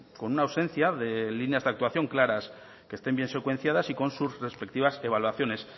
con una ausencia de líneas de actuación claras que estén bien secuenciadas y con sus respectivas evaluaciones